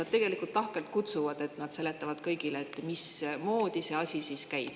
Nad tegelikult lahkelt kutsuvad, et nad seletavad kõigile, mismoodi see asi siis käib.